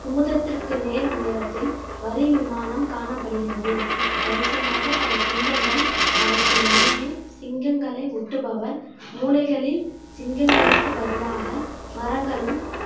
குமுதத்திற்கு நேர் உயரத்தில் வரி விமானம் காணப்படுகிறது வரிசையாக பல சிங்கங்கள் அவற்றின் மீது சிங்கங்களை ஒட்டுபவர் மூலைகளில் சிங்கங்களுக்கு பதிலாக மரங்களும்